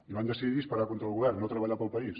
i van decidir esperar contra el govern no treballar per al país